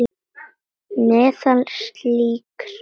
Meðal slíkra rita er